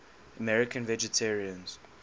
american vegetarians